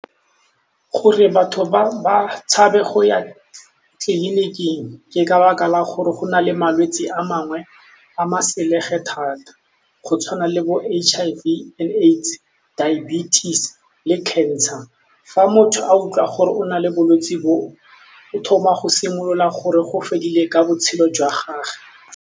Gore batho ba tshabe go ya tleliniking ke ka 'baka la gore go na le malwetsi a mangwe a ma-sleg-e thata go tshwana le bo-H_I_V and AIDS, diabetes le cancer fa motho a utlwa gore o na le bolwetse bo o thoma go simolola gore go fedile ka botshelo jwa gage.